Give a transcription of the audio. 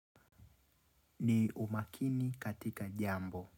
Ni umakini katika jambo.